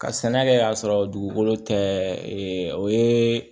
Ka sɛnɛ kɛ ka sɔrɔ dugukolo tɛ e ye